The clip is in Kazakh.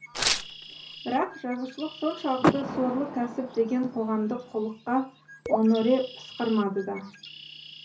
бірақ жазушылық соншалықты сорлы кәсіп деген қоғамдық құлыққа оноре пысқырмады да